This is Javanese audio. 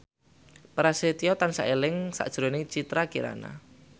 Prasetyo tansah eling sakjroning Citra Kirana